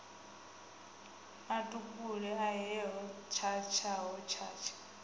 a tupule ahe hotshatsha hotshatsha